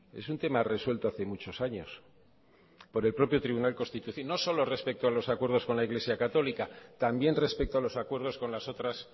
es un tema resuelto hace muchos años por el propio tribunal constitucional no solo respecto a los acuerdos con la iglesia católica también respecto a los acuerdos con las otras